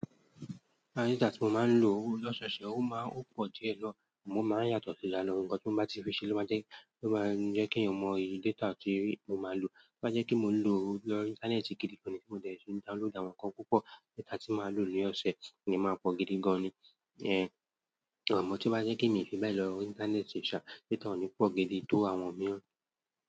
Data tí mo máa ń lò lọ́sọọṣẹ̀ ó máa ń pọ̀ díẹ̀ na, àmọ́ o máa ń yàtọ̀ sí ranáà, ohun tí mo bá ti fi ṣe ló máa jẹ́ kí èèyàn mọ iye data tí mo máa lò. Tó bá jẹ́ pé mò ń lò ó lórí Íńtánẹ́ẹ̀tì gidi gan ní tí mo dẹ̀ fi download àwọn nǹkan púpọ̀, data tí màá lò ní ọ̀sẹ̀ kò ní máa pọ̀ gidi gan ni. Ẹ̀, àmọ́ tí ó bá jẹ́ pé mi fi bẹ́ẹ̀ lọ, Íńtánẹ́ẹ̀tì ṣá data ò ní pọ̀ gidi tó àwọn mìíràn.